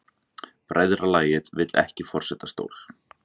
Bræðralagið vill ekki forsetastól